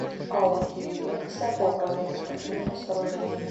ау дирекция по управлению спортивными сооружениями